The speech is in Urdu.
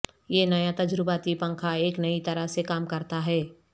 یہ نیا تجرباتی پنکھا ایک نئی طرح سےکام کرتا ہے